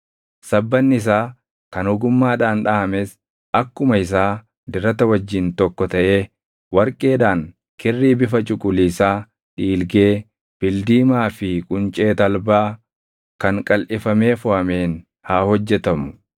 Sabbanni isaa kan ogummaadhaan dhaʼames akkuma isaa dirata wajjin tokko taʼee warqeedhaan, kirrii bifa cuquliisaa, dhiilgee, bildiimaa fi quncee talbaa kan qalʼifamee foʼameen haa hojjetamu.